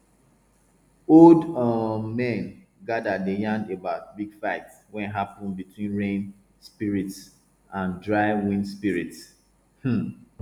old um men gather dey yarn about big fight wey happun between rain spirits and dry wind spirits um